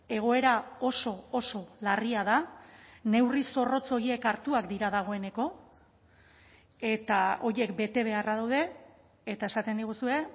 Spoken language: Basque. egoera oso oso larria da neurri zorrotz horiek hartuak dira dagoeneko eta horiek bete beharra daude eta esaten diguzue